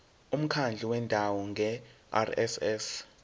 umkhandlu wendawo ngerss